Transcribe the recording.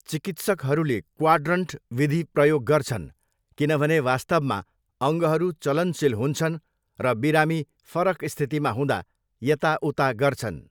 चिकित्सकहरूले क्वाड्रन्ट विधि प्रयोग गर्छन् किनभने, वास्तवमा, अङ्गहरू चलनशील हुन्छन् र बिरामी फरक स्थितिमा हुँदा यताउता गर्छन्।